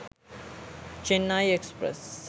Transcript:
chennai express